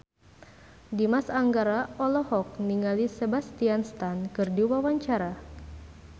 Dimas Anggara olohok ningali Sebastian Stan keur diwawancara